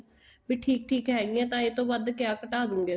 ਵੀ ਠੀਕ ਠੀਕ ਹੈਗੀਆਂ ਤਾਂ ਇਹ ਤੋ ਵੱਧ ਕਿਹਾ ਘਟਾ ਦੋਗੇ ਅਸੀਂ